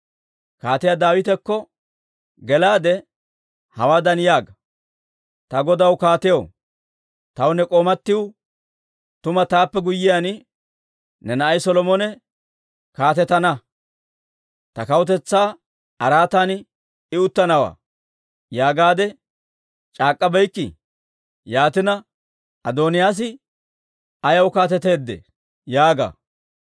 Kaatiyaa Daawitakko gelaade hawaadan yaaga; ‹Ta godaw kaatiyaw, taw ne k'oomatiw, «Tuma, taappe guyyiyaan ne na'ay Solomone kaatetana; ta kawutetsaa araatan I uttanawaa» yaagaade c'aak'k'abeykkii? Yaatina, Adooniyaas ayaw kaateteedee?› yaaga.